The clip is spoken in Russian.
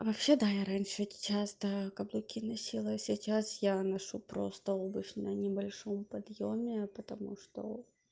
а вообще-то я раньше часто каблуки носила сейчас я ношу просто обувь на небольшом подъёме потому что